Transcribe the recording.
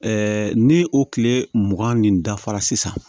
ni o tile mugan nin dafara sisan